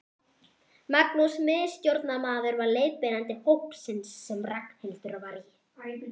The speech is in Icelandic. Magnús miðstjórnarmaður var leiðbeinandi hópsins sem Ragnhildur var í.